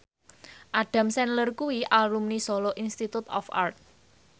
Adam Sandler kuwi alumni Solo Institute of Art